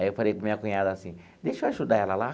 Aí eu falei com a minha cunhada assim, deixa eu ajudar ela lá?